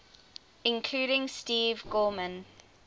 including steve gorman